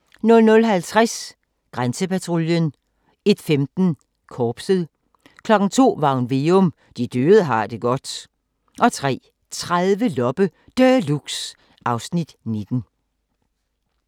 00:50: Grænsepatruljen 01:15: Korpset 02:00: Varg Veum - De døde har det godt 03:30: Loppe Deluxe (Afs. 19)